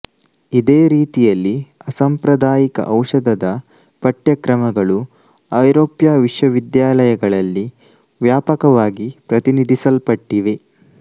ಇದೇ ರೀತಿಯಲ್ಲಿ ಅಸಾಂಪ್ರದಾಯಿಕ ಔಷಧದ ಪಠ್ಯಕ್ರಮಗಳು ಐರೋಪ್ಯ ವಿಶ್ವವಿದ್ಯಾಲಯಗಳಲ್ಲಿ ವ್ಯಾಪಕವಾಗಿ ಪ್ರತಿನಿಧಿಸಲ್ಪಟ್ಟಿವೆ